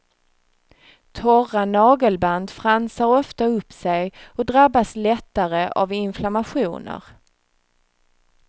Torra nagelband fransar ofta upp sig och drabbas lättare av inflammationer.